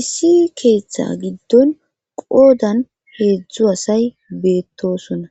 issi keeththe giddon qoodan heedzdzu hasay beettosona